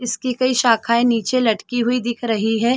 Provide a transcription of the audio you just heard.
इसकी कई साखाये निचे लटकी हुई दिख रही है।